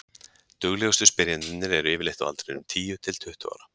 duglegustu spyrjendurnir eru yfirleitt á aldrinum tíu til tuttugu ára